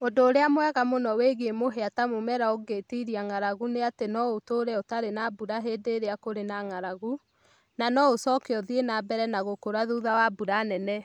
Ũndũ ũrĩa mwega mũno wĩgiĩ mũhĩa ta mũmera ũngĩtiria ng'aragu nĩ atĩ no ũtũũre ũtarĩ na mbura hĩndĩ ĩrĩa kũrĩ na ng'aragu, na no ĩcoke ũthiĩ na mbere na gũkũra thutha wa mbura nene